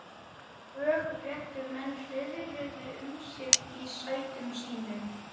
Lögréttumenn hreiðruðu um sig í sætum sínum.